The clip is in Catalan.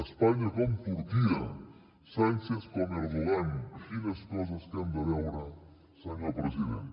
espanya com turquia sánchez com erdogan quines coses que hem de veure senyor president